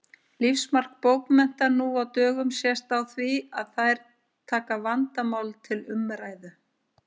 Lífsmark bókmennta nú á dögum sést á því að þær taka vandamál til umræðu.